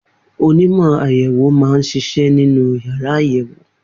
Onímọ̀ àyẹ̀wò máa ń ṣiṣẹ́ nínú yàrá àyẹ̀wò.